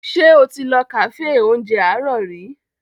Ṣé o ti lọ kàféè oúnjẹ àárọ̀ rí?